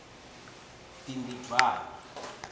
bhimbidvwane